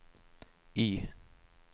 Y